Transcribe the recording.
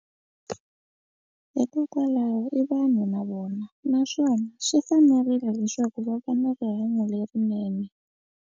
Hikokwalaho i vanhu na vona naswona swi fanerile leswaku va va na rihanyo lerinene.